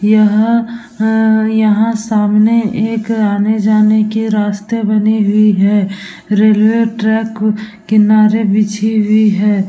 यहाँ हा यहाँ सामने एक आने-जाने के रस्ते बने हुई है। रेलवे ट्रैक किनारे बिछि हुई है।